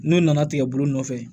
N'u nana tigɛ bolo nɔfɛ